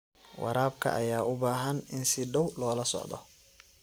Waraabka ayaa u baahan in si dhow loola socdo.